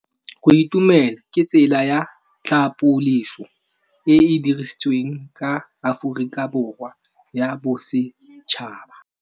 Go itumela ke tsela ya tlhapolisô e e dirisitsweng ke Aforika Borwa ya Bosetšhaba.